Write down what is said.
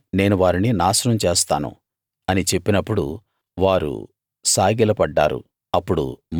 తక్షణమే నేను వారిని నాశనం చేస్తాను అని చెప్పినప్పుడు వారు సాగిలపడ్డారు